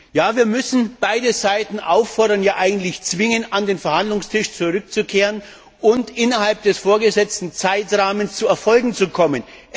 Ja, wir müssen beide Seiten auffordern, ja, eigentlich zwingen, an den Verhandlungstisch zurückzukehren und innerhalb des vorgesetzten Zeitrahmens zu Erfolgen zu kommen.